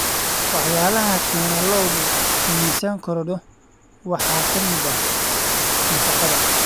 Waxyaalaha keena in lo'du miisaan korodho waxaa ka mid ah nafaqada.